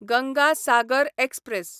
Ganga Sagar express